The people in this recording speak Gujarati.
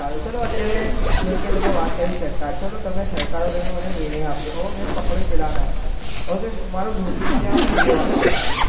ચાલો અત્યારે જેમકે તમે વાત કરી સરકાર ચાલો તમે સરકાર હોય તમે મન નિયમ આપ્યો હવે મેં પકડ્યો પેલા ન હવે મારે રોજ નુ ત્યાં ઉભું રહેવાનું હોય